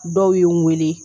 Dɔw ye n weele